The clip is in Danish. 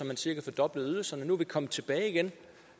man cirka fordoblede ydelserne nu er vi kommet tilbage igen